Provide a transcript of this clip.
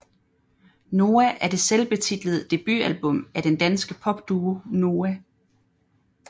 Noah er det selvbetitlede debutalbum af den danske popduo Noah